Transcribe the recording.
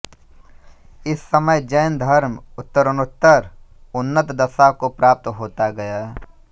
इस समय जैन धर्म उत्तरोत्तर उन्नत दशा को प्राप्त होता गया